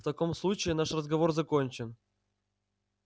в таком случае наш разговор закончен